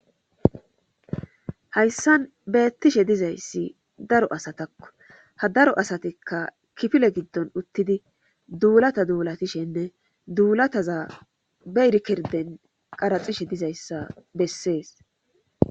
hayssan beettishe dizayssi daro asatakko ha daro asatikka kifile giddon uttidi duulata duulatishenne duulataza be rkirden qaraxishe dizayssa bessees